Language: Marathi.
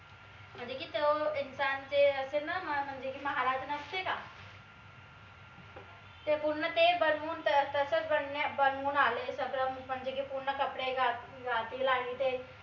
म्हनजे की तो इन्सान जे असे न म्हनजे की महाराज नसते का? ते पूर्ण ते बनवून तर तस बनवून आलेले सगळं म्हनजे की पूर्ण कपडे घातलेले घातलेले ते.